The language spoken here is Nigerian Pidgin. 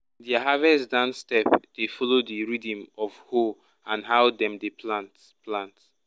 their harvest dance step dey follow the rhythm of hoe and how dem dey plant. plant.